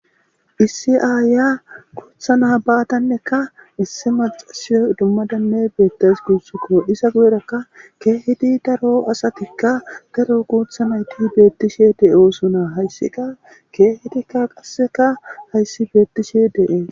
Issi aaya kuutha na baadannekka issi macasiyo dummadanne beettays guussuko isa goyrakka keehidi daro asatikka garo kuutha nayti beettishe de7e oso naa hayssika keehidikka qasseka hayssi beettishi de7e